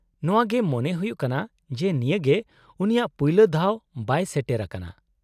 -ᱱᱚᱶᱟ ᱜᱮ ᱢᱚᱱᱮ ᱦᱩᱭᱩᱜ ᱠᱟᱱᱟ ᱡᱮ ᱱᱤᱭᱟᱹᱜᱮ ᱩᱱᱤᱭᱟᱜ ᱯᱩᱭᱞᱩ ᱫᱷᱟᱣ ᱵᱟᱭ ᱥᱮᱴᱮᱨ ᱟᱠᱟᱱᱟ ᱾